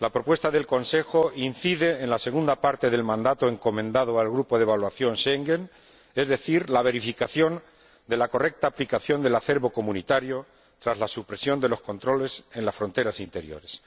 La propuesta del Consejo incide en la segunda parte del mandato encomendado al Grupo de Evaluación de Schengen, es decir, la verificación de la correcta aplicación del acervo comunitario tras la supresión de los controles en las fronteras interiores.